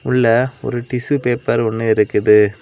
இல்ல ஒரு tissue paper ஒன்னு இருக்குது.